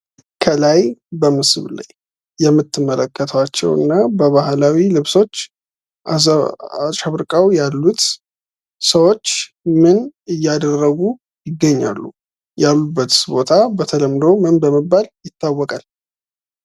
ከላይ በምስሉ ላይ የምትመለከቷቸውና በባህላዊ ልብሶች አሸብርቀው ያሉት ሰዎች ምን እያደረጉ ይገኛሉ? ያሉበትስ ቦታ በተለምዶ ምን በመባል ይታወቃል?